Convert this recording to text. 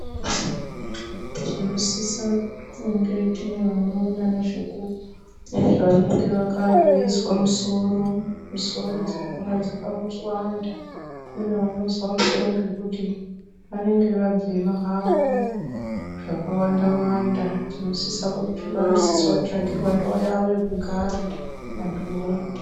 Tinosisa kunge tine vanoona nezve vanenge vakavezwa musoro, misoro dzakadaro dzakawanda kune vanozwa musoro ngekuti vanenge vabhema havo zvakawandawanda saka vanosise kutsvagirwe ndau yawo yekugara vantuvo.